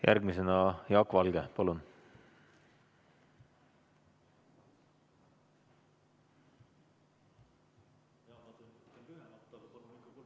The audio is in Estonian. Järgmisena Jaak Valge, palun!